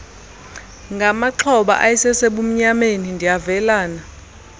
ngamaxhoba ayesesebumnyameni ndiyavelana